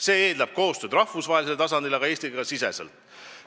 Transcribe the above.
See eeldab koostööd rahvusvahelisel tasandil, aga ka Eesti-siseselt.